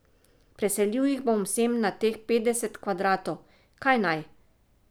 Preselil jih bom sem na teh petdeset kvadratov, kaj naj?